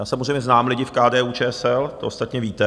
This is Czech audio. Já samozřejmě znám lidi v KDU-ČSL, to ostatně víte.